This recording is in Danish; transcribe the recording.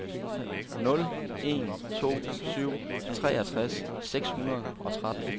nul en to syv treogtres seks hundrede og tretten